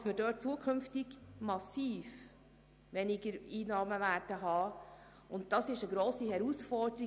Dort werden wir künftig massiv weniger Einnahmen haben, und das ist eine grosse Herausforderung.